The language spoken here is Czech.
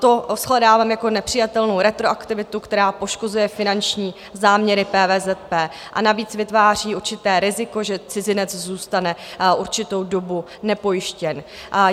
To shledávám jako nepřijatelnou retroaktivitu, která poškozuje finanční záměry PVZP, a navíc vytváří určité riziko, že cizinec zůstane určitou dobu nepojištěn.